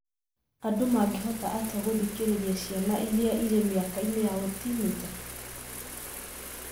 Andũ mangĩhota atĩa gũthikĩrĩria ciana iria irĩ mĩaka-inĩ ya ũtinĩnja?